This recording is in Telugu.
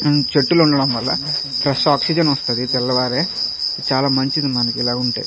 చెట్టులు ఉండడం వల్ల ఫ్రెష్ ఆక్సిజన్ వస్తది తెల్లవారే చాలా మంచిది మనకి ఇలా ఉంటే.